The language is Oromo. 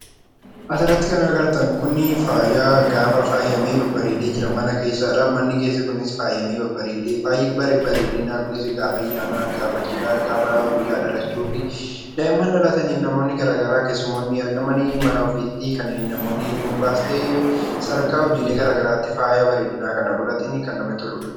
As irratti kan agartan kun faayadha. Faayi kunis faayamee babbareedee mana keessa jira. Faayi bareedinaa kunis gaafa ayyaanaa, cidhaa, guyyaa dhalachuu fayyadamuuf kan ooludha. Daa'imman dhalataniif, namoonni garaa garaa argamanii mana ofiitti namoonni dhuunfaas ta'e, sadarkaa hojii garaa garaatti faaya bareedinaa kana godhatanidha.